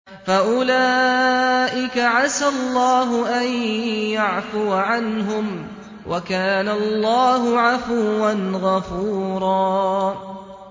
فَأُولَٰئِكَ عَسَى اللَّهُ أَن يَعْفُوَ عَنْهُمْ ۚ وَكَانَ اللَّهُ عَفُوًّا غَفُورًا